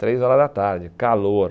Três horas da tarde, calor.